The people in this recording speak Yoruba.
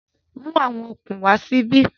Mú àwọn okùn wá síbí